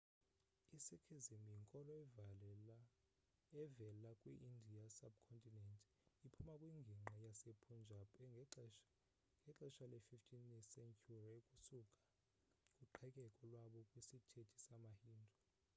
i-sikhism yinkolo evela kwi-indian sub-continent iphuma kwingingqi yasepunjab ngexehsa le-15 sentyhuri ukusuka kuqhekeko lwabo kwisithethe samahindu